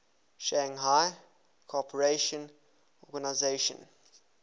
shanghai cooperation organization